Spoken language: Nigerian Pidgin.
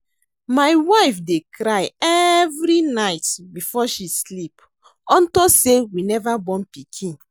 My wife dey cry every night before she sleep unto say we never born pikin